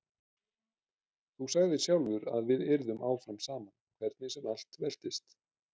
Þú sagðir sjálfur að við yrðum áfram saman hvernig sem allt veltist.